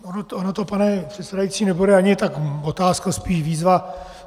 Ona to, pane předsedající, nebude ani tak otázka, spíš výzva.